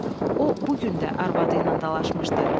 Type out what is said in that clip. O bu gün də arvadı ilə dalaşmışdı.